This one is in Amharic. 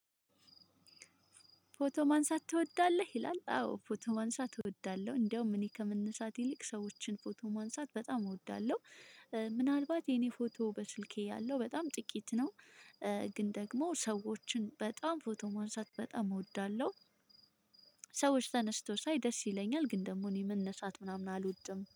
"ፎቶ ማንሳት ትወዳለህ?" ይላል፤ አዎ ፎቶ ማንሳት እወዳለሁ። እንደውም እኔ ከመነሳት ይልቅ ሰዎችን ፎቶ ማንሳት በጣም እወዳለሁ። ምናልባት የኔ ፎቶ በስልኬ ያለው በጣም ጥቂት ነው። ግን ደግሞ ሰዎችን በጣም ፎቶ ማንሳት በጣም እወዳለሁ። ሰዎች ተነስተው ሳይ ደስ ይለኛል፤ ግን ደግሞ እኔ መነሳት ምናምን አልወድም።